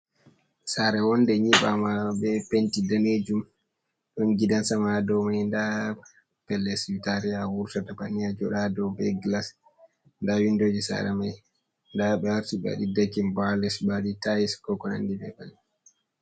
Saare woonde nyiɓaama be penti daneejum, ɗon gidan sama dow may, ndaa pellel siwtaare a wurtata banni a jooɗa, ɗo be gilas ndaa winndooji saare may, ndaa ɓe aarti ɓe waɗi dakin bo a les, ɓe waɗi tayis, ko ko nanndi may.